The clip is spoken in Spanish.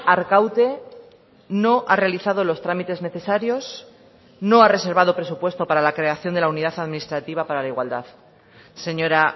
arkaute no ha realizado los trámites necesarios no ha reservado presupuesto para la creación de la unidad administrativa para la igualdad señora